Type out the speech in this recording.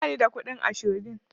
Ba ni da kuɗin ashobin.